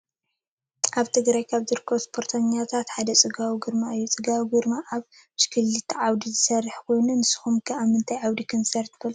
አብ ትግራይ ካብ ዝርከቡ እስፖርተኛታት ሓደ ፀጋብ ግርማይ እዩ ። ፀጋብ ግርማይ አብ ብሽክሊታ ዓውዲ ዝስርሕ ኮይኑ ንስኩም ከ አብምታይ ዓድታት ከም ዝተሳተፈ ትፈልጡ ዶ?